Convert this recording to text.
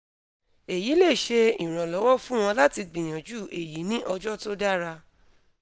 eyi le ṣe iranlọwọ fun ọ lati gbiyanju eyi ni ọjọ to dara